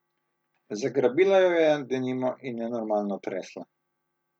Zagrabila jo je denimo in nenormalno tresla.